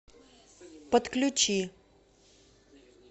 подключи